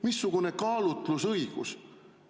Missugune kaalutlusõigus?!